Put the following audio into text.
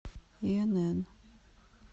инн